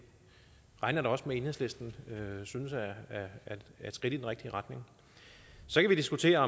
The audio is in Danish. regner jeg da også med at enhedslisten synes er et skridt i den rigtige retning så kan vi diskutere